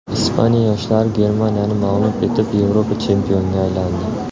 Ispaniya yoshlari Germaniyani mag‘lub etib, Yevropa chempionga aylandi .